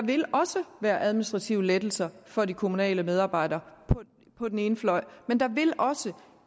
vil også være administrative lettelser for de kommunale medarbejdere på den ene fløj men der vil også